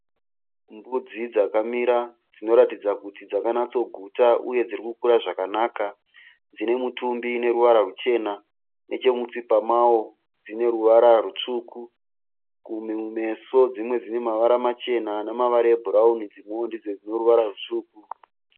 Mbudzi dzakamira dzinoratidza kuti dzakanatsoguta uye dzirikukura zvakanaka. Dzine mitumbi une ruvara ruchena. Nechemutsipa mavo dzine ruvara rutsvuku. Kumeso dzimwe dzine mavara machena nemavara ebhurauni. Dzimwewo ndidzo dzine ruvara rutsvuku.